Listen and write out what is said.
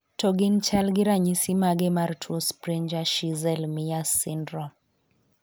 To gin chal gi ranyisi mage mar tuo Spranger Schinzel Myers syndrome?